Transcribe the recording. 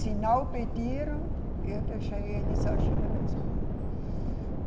Se não pediram, eu deixei eles agirem mesmo.